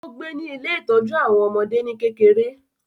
ó gbé ní “ ile ìtọ́jú àwọn ọmọdé ” ní kékeré.